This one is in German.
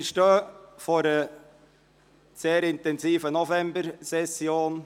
Wir stehen vor einer sehr intensiven Novembersession.